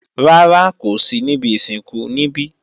Rárá, kò sí níbi ìsìnkú níbí.